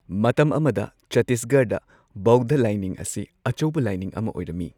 ꯃꯇꯝ ꯑꯃꯗ ꯆꯠꯇꯤꯁꯒꯔꯗ ꯕꯧꯙ ꯂꯥꯏꯅꯤꯡ ꯑꯁꯤ ꯑꯆꯧꯕ ꯂꯥꯏꯅꯤꯡ ꯑꯃ ꯑꯣꯏꯔꯝꯃꯤ꯫